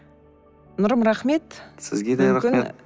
нұрым рахмет сізге де рахмет